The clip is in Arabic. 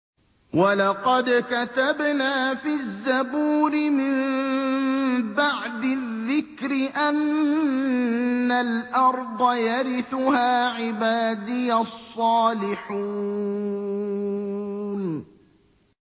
وَلَقَدْ كَتَبْنَا فِي الزَّبُورِ مِن بَعْدِ الذِّكْرِ أَنَّ الْأَرْضَ يَرِثُهَا عِبَادِيَ الصَّالِحُونَ